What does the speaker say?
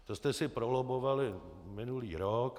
To jste si prolobbovali minulý rok.